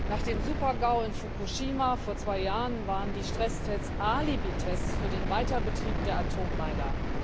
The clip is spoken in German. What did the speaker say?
Nach dem Super GAU in Fukushima vor zwei Jahren waren die Stresstests Alibitests für den Weiterbetrieb der Atommeiler.